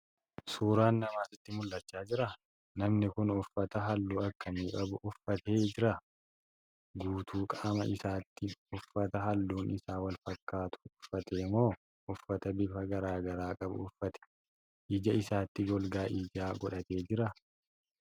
Suuraan Namaa sitti mul'acha jiraa?.namni Kuni uffata halluu akkamii qabu uffatee Jira?.guutuu qaama isaatti uffata halluun Isaa walfakkaatu uffate moo uffata bifa garagaraa qabu uffate?.ija isaatti golgaa ijaa godhatee jiraa?.